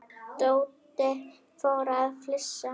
Tóti fór að flissa.